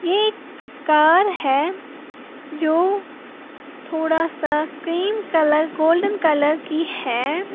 ये एक कार है जो थोड़ा सा क्रीम कलर गोल्डन कलर की है।